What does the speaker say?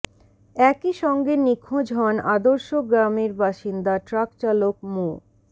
একই সঙ্গে নিখোঁজ হন আদর্শ গ্রামের বাসিন্দা ট্রাক চালক মো